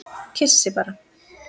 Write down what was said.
Kyssi bara.